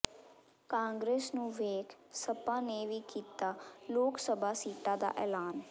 ਕਾਂਗਰਸ ਨੂੰ ਵੇਖ ਸਪਾ ਨੇ ਵੀ ਕੀਤਾ ਲੋਕਸਭਾ ਸੀਟਾ ਦਾ ਐਲਾਨ